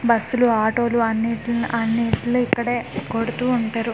బస్సులు ఆటోలు అన్నిట్ల అన్నిట్ల్ని ఇక్కడే కొడుతూ ఉంటారు.